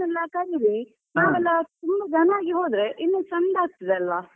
ನಿಮ್ಮ friends ಎಲ್ಲಾ ಕರೆಯಿರಿ ನಾವೆಲ್ಲ ತುಂಬಾ ಜನ ಆಗಿ ಹೋದ್ರೆ ಇನ್ನೂ ಚಂದ ಆಗ್ತದಲ್ವ.